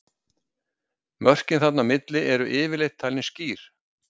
Mörkin þarna á milli eru yfirleitt talin skýr.